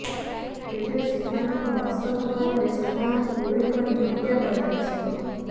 ତେବେ ସେମାନଙ୍କ ବାସଭବନରେ ସେମାନଙ୍କୁ ଗୁଳି କରି ହତ୍ୟା କରାଯାଇଛି